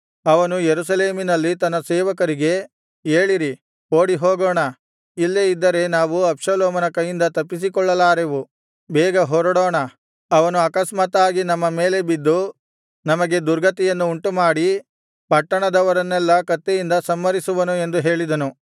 ಅವನು ಯೆರೂಸಲೇಮಿನಲ್ಲಿ ತನ್ನ ಸೇವಕರಿಗೆ ಏಳಿರಿ ಓಡಿಹೋಗೋಣ ಇಲ್ಲೇ ಇದ್ದರೆ ನಾವು ಅಬ್ಷಾಲೋಮನ ಕೈಯಿಂದ ತಪ್ಪಿಸಿಕೊಳ್ಳಲಾರೆವು ಬೇಗ ಹೊರಡೋಣ ಅವನು ಆಕಸ್ಮಾತ್ತಾಗಿ ನಮ್ಮ ಮೇಲೆ ಬಿದ್ದು ನಮಗೆ ದುರ್ಗತಿಯನ್ನು ಉಂಟುಮಾಡಿ ಪಟ್ಟಣದವರನ್ನೆಲ್ಲಾ ಕತ್ತಿಯಿಂದ ಸಂಹರಿಸುವನು ಎಂದು ಹೇಳಿದನು